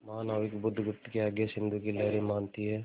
महानाविक बुधगुप्त की आज्ञा सिंधु की लहरें मानती हैं